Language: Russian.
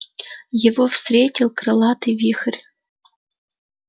его встретил крылатый вихрь